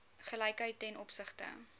gelykheid ten opsigte